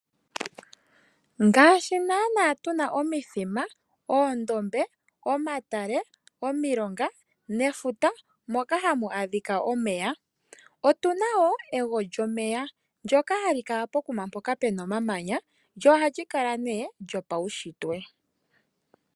Ngaashi nana tuna omithima, oondombe, omatale, omilonga nefuta moka hamu adhika omeya, otuna wo ewolyomeya ndjoka hali kala pokuma mpoka puna omamanya.